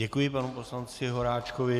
Děkuji panu poslanci Horáčkovi.